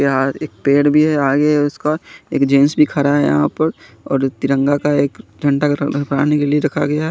यहां एक पेड़ भी है आगे है उसका एक जेंट्स भी खड़ा है यहां पर और तिरंगा का एक झंडा ग्रहण बना ने के लिए रखा गया है।